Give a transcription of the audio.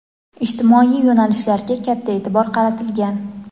ijtimoiy yo‘nalishlarga katta e’tibor qaratilgan.